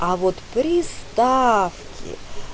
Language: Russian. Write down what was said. а вот приставки